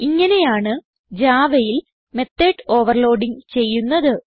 ഇങ്ങനെയാണ് javaയിൽ method overloading ചെയ്യുന്നത്